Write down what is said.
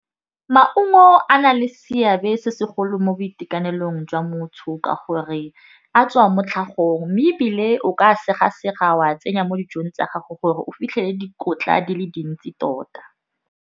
Maungo a na le seabe se segolo mo boitekanelong jwa motsho. Ka gore a tswa mo tlhagong. Mme ebile o ka sega sega wa tsenya mo dijong tsa gago gore o fitlhele dikotla di le dintsi tota.